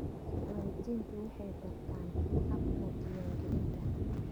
Waalidiintu waxay bartaan hababka diiwaangelinta.